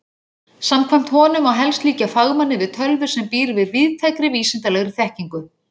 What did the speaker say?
Samkvæmt honum má helst líkja fagmanni við tölvu sem býr yfir víðtækri vísindalegri þekkingu.